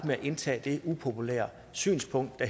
med at indtage det upopulære synspunkt at